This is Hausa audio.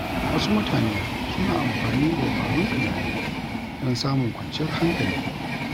Wasu mutane suna amfani da dabarun tunani don samun kwanciyar hankali.